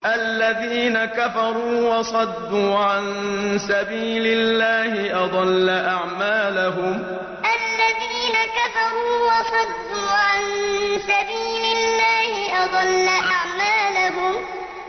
الَّذِينَ كَفَرُوا وَصَدُّوا عَن سَبِيلِ اللَّهِ أَضَلَّ أَعْمَالَهُمْ الَّذِينَ كَفَرُوا وَصَدُّوا عَن سَبِيلِ اللَّهِ أَضَلَّ أَعْمَالَهُمْ